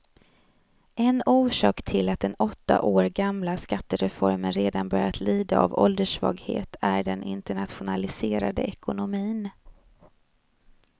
En orsak till att den åtta år gamla skattereformen redan börjar lida av ålderssvaghet är den internationaliserade ekonomin.